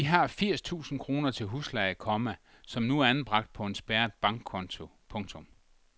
Vi har firs tusind kroner til husleje, komma som nu er anbragt på en spærret bankkonto. punktum